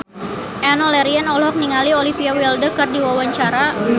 Enno Lerian olohok ningali Olivia Wilde keur diwawancara